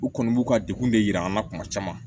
U kɔni b'u ka degun de yira an na kuma caman